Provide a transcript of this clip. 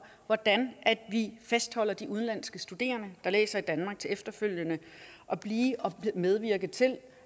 hvordan vi fastholder de udenlandske studerende der læser i danmark til efterfølgende at blive og medvirke til